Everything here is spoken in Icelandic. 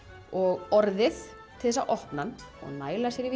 og orðið til þess að opna hann og næla sér í